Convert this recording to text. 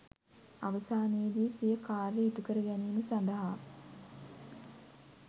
අවසානයේදී සිය කාර්ය ඉටු කර ගැනීම සඳහා